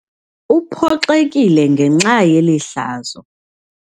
Uphoxekile ngenxa yeli hlazo.